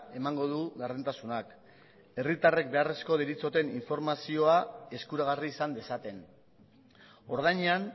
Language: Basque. emango du gardentasunak herritarrek beharrezko deritzoten informazioa eskuragarri izan dezaten ordainean